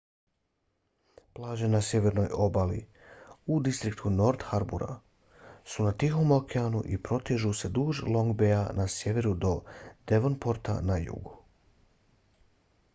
plaže na sjevernoj obali u distriktu north harbour su na tihom okeanu i protežu se duž long baya na sjeveru do devonporta na jugu